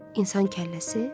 İnsan kəlləsi?